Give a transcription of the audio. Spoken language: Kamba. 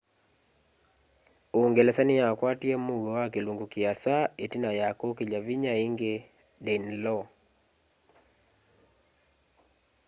uungelesa ni ya kwatie muuo wa kilungu kiasa itina ya kukilya vinya ingi danelaw